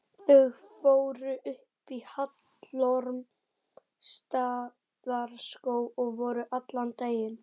Þau fóru upp í Hallormsstaðarskóg og voru allan daginn.